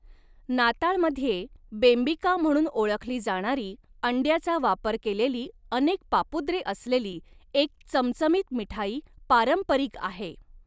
नाताळमध्ये बेंबिका म्हणून ओळखली जाणारी अंड्याचा वापर केलेली अनेक पापुद्रे असलेली एक चमचमीत मिठाई पारंपरिक आहे.